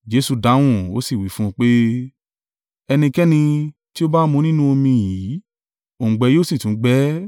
Jesu dáhùn, ó sì wí fún un pé, “Ẹnikẹ́ni tí ó bá mu nínú omi yìí, òǹgbẹ yóò sì tún gbẹ ẹ́.